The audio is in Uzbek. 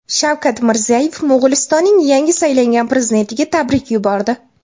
Shavkat Mirziyoyev Mo‘g‘ulistonning yangi saylangan prezidentiga tabrik yubordi.